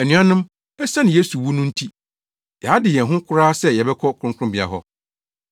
Anuanom, esiane Yesu wu no nti, yɛade yɛn ho koraa sɛ yɛbɛkɔ Kronkronbea hɔ.